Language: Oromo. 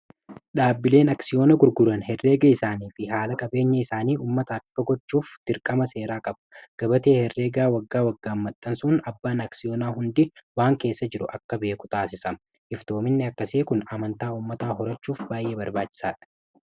dhaabbileen aksiyoona gurguran herreega isaanii fi haala qabeenya isaanii ummata ifa gochuuf dirqama seeraa qabu. Gabatee herreegaa waggaa waggaan maxxansuun abbaan aksiyoonaa hundi waan keessa jiru akka beeku taasisama. Iftoominni akkasii kun amantaa ummataa horachuuf baay'ee barbaachisaadha.